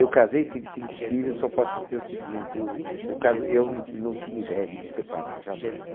Eu casei, tive cinco filhos, só posso te dizer o seguinte, eu o casa... eu... não tinha ideia de me separar, jamais.